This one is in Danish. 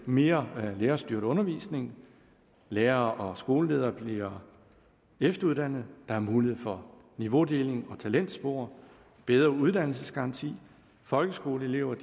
mere lærerstyret undervisning lærere og skoleledere bliver efteruddannet der er mulighed for niveaudeling og talentspor bedre uddannelsesgaranti folkeskoleelever